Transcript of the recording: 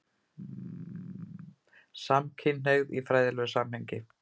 SAMKYNHNEIGÐ Í FRÆÐILEGU SAMHENGI